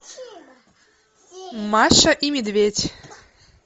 маша и медведь